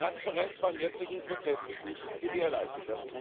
Die Transparenz beim jetzigen Prozess ist nicht gewährleistet